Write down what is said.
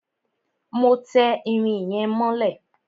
Má tẹ irin yẹn mọ́lẹ̀!